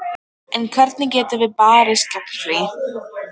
En hvernig getum við barist gegn því?